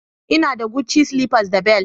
Ina da Gucci slippers da bel